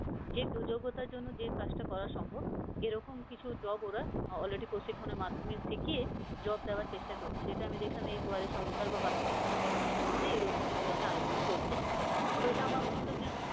যে যোগ্যতার জন্য যে কাজটা করা সম্ভব এরকম কিছু job ওরা already প্রশিক্ষনের মাধ্যমে শিখিয়ে job দেওয়ার চেষ্টা করছে যেটা আমি দেখলাম এই দুয়ারে সরকার বা বাকি সমস্ত campaign গুলোতে এরকম ধরনের আলোচনা চলছে, তো এটা আমাদের মনে হল যে